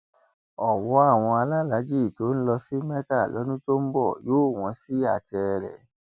ọwọ àwọn alálàájí tó ń lọ sí mẹka lọdún tó ń bọ yóò wọn sí i àtẹrẹ